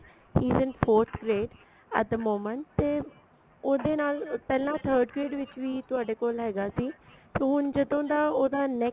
even forth grade at the moment ਤੇ ਉਹਦੇ ਨਾਲ ਪਹਿਲਾਂ third grade ਵਿੱਚ ਬੀ ਤੁਹਾਡੇ ਕੋਲ ਹੈਗਾ ਸੀ ਸੋ ਹੁਣ ਜਦੋ ਦਾ ਉਹਦਾ next